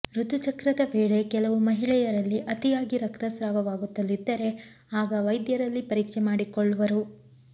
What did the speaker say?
ಋತುಚಕ್ರದ ವೇಳೆ ಕೆಲವು ಮಹಿಳೆಯರಲ್ಲಿ ಅತಿಯಾಗಿ ರಕ್ತಸ್ರಾವವಾಗುತ್ತಲಿದ್ದರೆ ಆಗ ವೈದ್ಯರಲ್ಲಿ ಪರೀಕ್ಷೆ ಮಾಡಿಕೊಳ್ಳುವರು